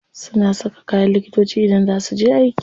Suna saka kayan likitoci idan za su je aiki.